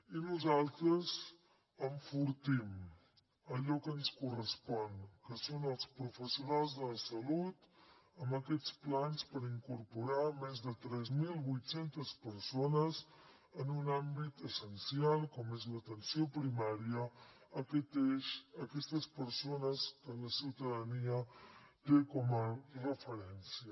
i nosaltres enfortim allò que ens correspon que són els professionals de la salut amb aquests plans per incorporar més de tres mil vuit cents persones en un àmbit essencial com és l’atenció primària a aquest eix aquestes persones que la ciutadania té com a referència